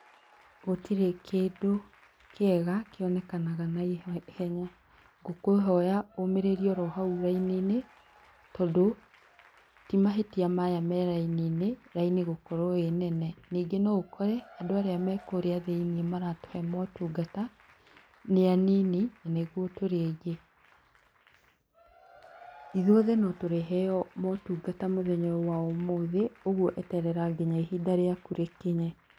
Gũtirĩ kĩndũ kĩega kĩonekanaga naihenya. Ngũkũhoya ũũmĩrĩrie oro hau raini-inĩ, tondũ ti mahĩtia maya me raini-inĩ, raini gũkorwo ĩ nene. Ningĩ no ũkore andũ arĩa me kũrĩa thĩiniĩ maratũhe maũtungata nĩ anini, na nĩguo tũrĩ aingĩ. Ithuothe no tũrĩheo maũtungata mũthenya wa ũmuthĩ, ũguo eterera nginya ihinda rĩaku rĩkinye.